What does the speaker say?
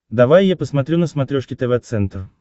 давай я посмотрю на смотрешке тв центр